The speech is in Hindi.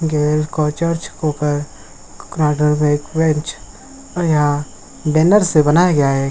या बैनर से बनाया गया है।